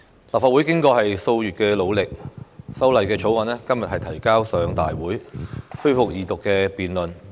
立法會經過數月努力，《條例草案》今日提交上大會，恢復二讀辯論。